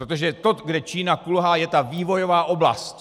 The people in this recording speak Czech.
Protože to, kde Čína kulhá, je ta vývojová oblast.